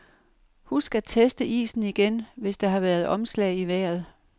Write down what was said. Husk at teste isen igen, hvis der har været omslag i vejret.